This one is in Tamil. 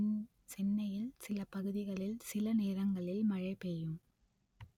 சென்னையில் சில பகுதிகளில் சில நேரங்களில் மழை பெய்யும்